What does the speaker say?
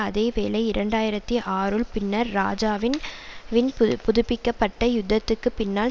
அதே வேளை இரண்டாயிரத்தி ஆறுன் பின்னர் இராஜாவின் வின் புதுப்பிக்க பட்ட யுத்தத்துக்குப் பின்னால்